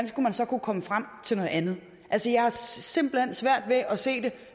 skulle man så kunne komme frem til noget andet altså jeg har simpelt hen svært ved at se det